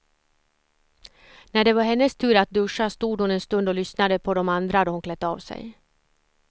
När det var hennes tur att duscha stod hon en stund och lyssnade på de andra då hon klätt av sig.